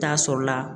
Taa sɔrɔla